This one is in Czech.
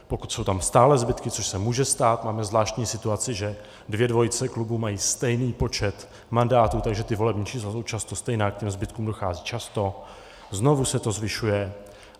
Pokud jsou tam stále zbytky, což se může stát, máme zvláštní situaci, že dvě dvojice klubů mají stejný počet mandátů, takže ta volební čísla jsou často stejná, k těm zbytkům dochází často, znovu se to zvyšuje.